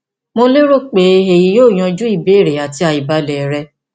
mo lérò pé èyí yóò yanjú ìbéèrè àti àìbalẹ rẹ